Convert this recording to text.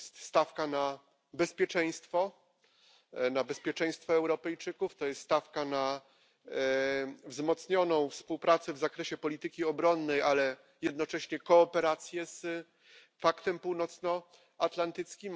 To jest stawka na bezpieczeństwo, na bezpieczeństwo Europejczyków, to jest stawka na wzmocnioną współpracę w zakresie polityki obronnej, ale jednocześnie kooperację z Paktem Północnoatlantyckim.